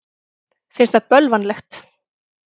Finnst það bölvanlegt.